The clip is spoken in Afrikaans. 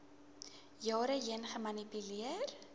jare heen gemanipuleer